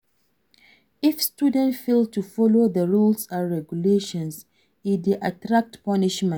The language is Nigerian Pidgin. If students fail to follow the rules and regulations e de attract punishment